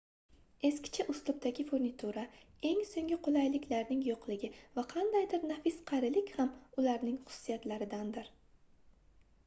eskicha uslubdagi furnitura eng soʻngi qulayliklarning yoʻqligi va qandaydir nafis qarilik ham ularning xususiyatlaridandir